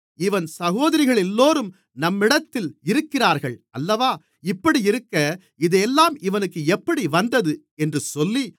இவன் சகோதரிகளெல்லோரும் நம்மிடத்தில் இருக்கிறார்கள் அல்லவா இப்படியிருக்க இதெல்லாம் இவனுக்கு எப்படி வந்தது என்று சொல்லி